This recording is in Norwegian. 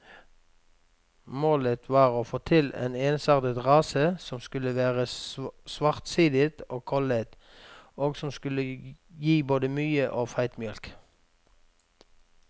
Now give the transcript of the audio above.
Målet var å få til en ensartet rase som skulle være svartsidet og kollet, og som skulle gi både mye og feit mjølk.